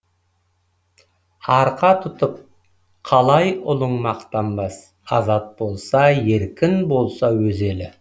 арқа тұтып қалай ұлың мақтанбас азат болса еркін болса өз елі